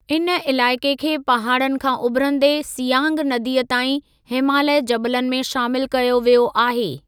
इन इलाइक़े खे पहाड़नि खां उभिरंदे सियांग नदीअ ताईं हिमालय जबलनि में शामिलु कयो वियो आहे।